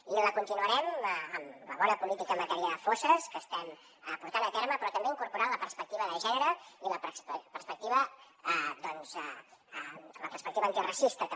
i la continuarem amb la bona política en matèria de fosses que estem portant a terme però també incorporant la perspectiva de gènere i la perspectiva antiracista també